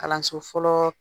Kalanso fɔlɔ